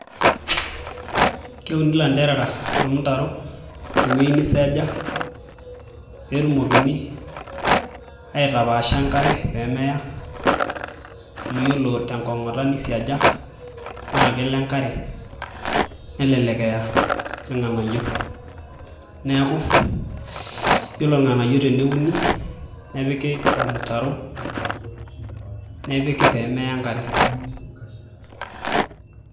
Keuni ilanterera tolmutaro tewueji niseeja peetumoki aitapaasha enkare peemeya amu iyiolo tenkong'ota naisiaja naa kelo enkare nelelek eyaa irng'anayio neeku iyiolo irng'anayio teneuni nepiki ormutaro nepiki peemeya enkare .